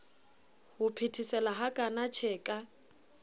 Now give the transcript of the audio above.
ho phethesela hakana tjhe ka